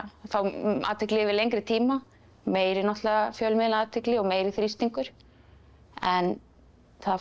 þá athygli yfir lengri tíma meiri náttúrulega fjölmiðlaathygli og meiri þrýstingur en það fór